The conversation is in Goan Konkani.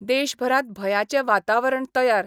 देशभरात भयाचे वातावरण तयार